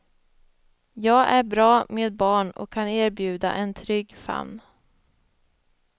Jag är bra med barn och kan erbjuda en trygg famn.